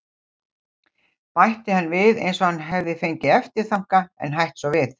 .- bætti hann við eins og hann hefði fengið eftirþanka en hætt svo við.